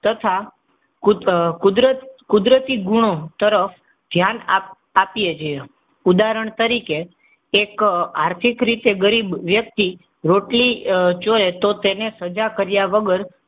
તથા કુદરતી, કુદરતી ગુણો તરફ ધ્યાન આપીએ. ઉદાહરણ તરીકે એક આર્થિક રીતે ગરીબ વ્યક્તિ રોટલી ચોરી તો તેની તેને સજા કર્યા વગર,